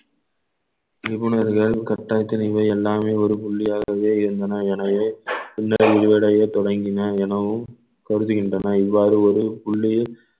நிபுணர்கள் கட்டாயத்தில் இனிமேல் எல்லாமே ஒரு புள்ளியாகவே இருந்தன எனவே விரிவடைய தொடங்கின எனவும் கருதுகின்றன இவ்வாறு ஒரு புள்ளியில்